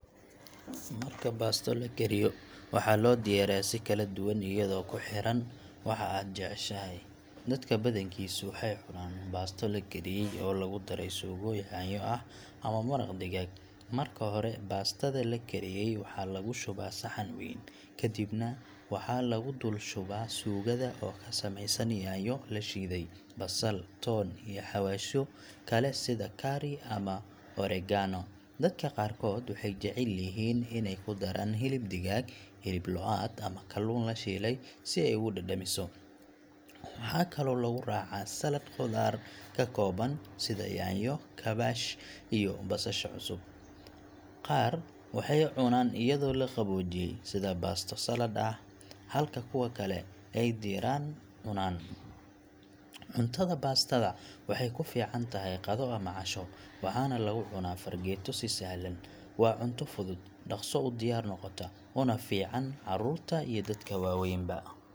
Marka baasto la kariyo, waxaa loo diyaariyaa si kala duwan iyadoo ku xiran waxa aad jeceshahay. Dadka badankiisu waxay cunaan baasto la kariyey oo lagu daray suugo yaanyo ah ama maraq digaag. Marka hore, baastada la kariyey waxaa lagu shubaa saxan weyn, kadibna waxaa lagu dul shubaa suugada oo ka samaysan yaanyo la shiiday, basal, toon, iyo xawaashyo kale sida curry ama oregano. Dadka qaarkood waxay jecel yihiin inay ku daraan hilib digaag, hilib lo’aad ama kalluun la shiilay si ay ugu dhadhamiso. Waxaa kaloo lagu raacaa saladh khudaar ka kooban sida yaanyo, kaabash, iyo basasha cusub. Qaar waxay cunaan iyadoo la qaboojiyay, sida baasto saladh ah, halka kuwa kale ay diiran u cunaan. Cuntada baastada waxay ku fiican tahay qado ama casho, waxaana lagu cunaa fargeeto si sahlan. Waa cunto fudud, dhakhso u diyaar noqota, una fiican carruurta iyo dadka waaweynba.